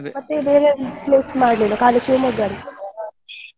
ಮತ್ತೆ ನೀವು ಬೇರೆ ಏನ್~ place ಮಾಡ್ಲಿಲ್ವಾ ಖಾಲಿ Shivamogga .